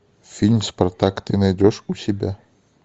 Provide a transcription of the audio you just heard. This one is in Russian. фильм спартак ты найдешь у себя